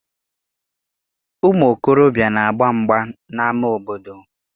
Ụmụ okorobịa na-agba mgba n'ama obodo.